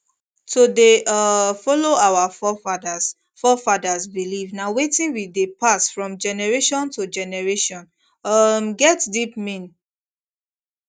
to dey um follow our forefathers forefathers belief na wetin wey dey pass from generation to generation um get deep mean